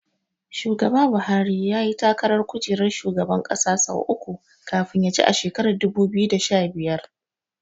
Shugaba Buhari yayi takarar kujerar shugaban ƙasa sau uku kafin ya ci a shekarar dubu biyu da sha biyar.